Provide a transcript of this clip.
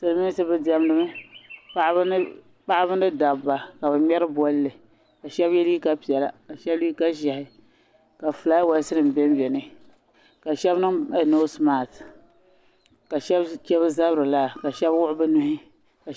Silmiinsi bi diɛmdi mi paɣaba ni dabba ka bi ŋmeri bɔlli ka shaba yɛ liiga piɛlla shaba liiga ʒiɛhi ka flaawaas nim bɛ bɛ ni ka shaba niŋ noosi maat ka shaba che bi zabiri laa ka shaba wuɣi bi nuhi.